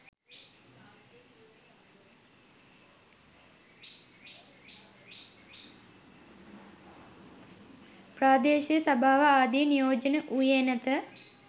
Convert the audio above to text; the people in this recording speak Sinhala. ප්‍රාදේශීය සභාව ආදිය නියෝජනය වූයේ නැත